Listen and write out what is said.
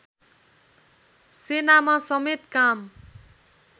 सेनामा समेत काम